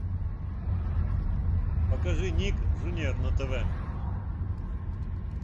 покажи ник джуниор на тв